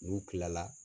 N'u kilala